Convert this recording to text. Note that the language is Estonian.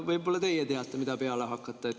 Võib-olla teie teate, mida peale hakata.